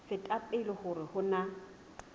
feta pele hore ho na